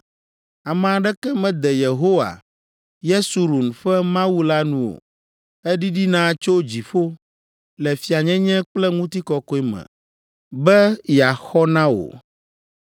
Ame aɖeke mede Yehowa, Yesurun ƒe Mawu la nu o. Eɖiɖina tso dziƒo Le fianyenye kple ŋutikɔkɔe me be yeaxɔ na wò.